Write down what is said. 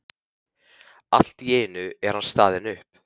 Allt í einu er hann staðinn upp.